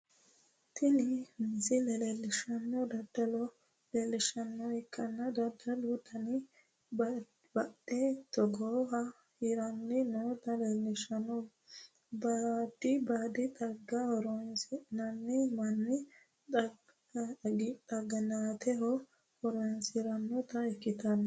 Tini misile leelishanohu dadallo leelishanoha ikanna dadalu dannino baadi xagga hiranni noota leelishano baadi xaggati horoseno Manu xaginaateho horoonsiranota ikitano.